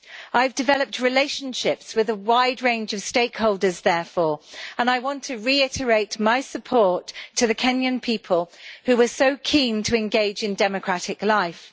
I have developed relationships with a wide range of stakeholders, therefore, and I want to reiterate my support to the Kenyan people who were so keen to engage in democratic life.